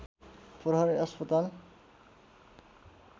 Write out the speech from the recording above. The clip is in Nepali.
प्रहरी अस्पताल